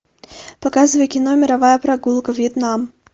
показывай кино мировая прогулка вьетнам